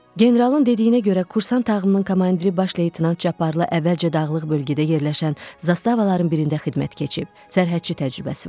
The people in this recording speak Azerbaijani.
Generalın dediyinə görə kursant tağımının komandiri baş leytenant Cabbarlı əvvəlcə dağlıq bölgədə yerləşən zastavaların birində xidmət keçib sərhədçi təcrübəsi vardı.